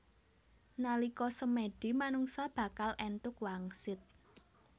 Nalika semèdi manungsa bakal èntuk wangsit